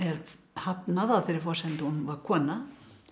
hafnað á þeirri forsendu að hún var kona